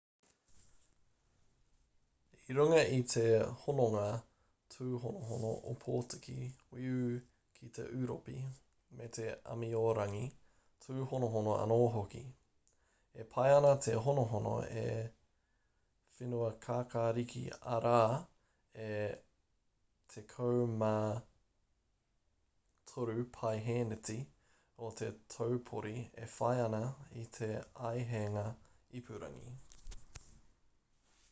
i runga i te hononga tūhonohono opotiki weu ki a ūropi me te āmiorangi tūhonohono anō hoki e pai ana te honohono a whenuakākāriki arā e 93% o te taupori e whai ana i te āheinga ipurangi